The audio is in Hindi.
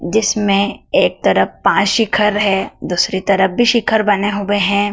जिसमें एक तरफ पांच शिखर है दूसरी तरफ भी शिखर बने हुए हैं।